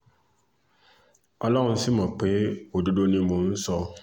ọlọ́run sì mọ̀ pé òdodo ni mò ń sọ